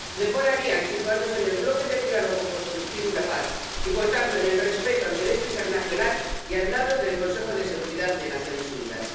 Mejor harían situándose en el bloque del diálogo constructivo y la paz, y por tanto en el respeto al Derecho internacional, y al lado del Consejo de Seguridad de Naciones Unidas.